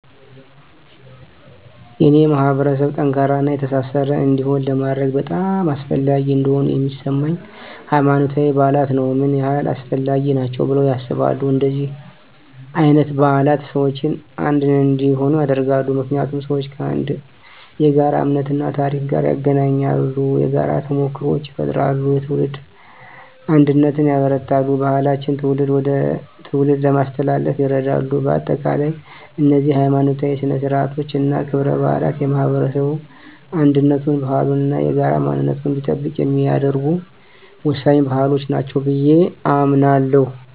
የኔን ማህበረሰብ ጠንካራና የተሳሰረ እንዲሆን ለማድረግ በጣም አስፈላጊ እንደሆኑ የሚሰማኝ፦ ** ሃይማኖታዊ በዓላት ነው **ምን ያህል አስፈላጊ ናቸው ብለው ያስባሉ? እንደነዚህ አይነት በዓላት ሰዎችን አንድ እንዲሆኑ ያደርጋሉ። ምክንያቱም ሰዎችን ከአንድ የጋራ እምነት እና ታሪክ ጋር ያገናኛሉ። የጋራ ተሞክሮዎችን ይፈጥራሉ፣ የትውልድ አንድነትን ያበረታታሉ፣ ባህሎችን ከትውልድ ወደ ትውልድ ለማስተላለፍ ይረዳሉ። በአጠቃላይ፣ እነዚህ ሀይማኖታዊ ሥነ ሥርዓቶች እና ክብረ በዓላት የማህበረሰቡን አንድነቱን፣ ባህሉን እና የጋራ ማንነቱን እንዲጠብቅ የሚያደርጉ ወሳኝ ባህሎች ናቸው ብየ አምናለሁ።